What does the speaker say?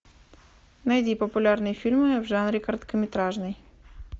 найди популярные фильмы в жанре короткометражный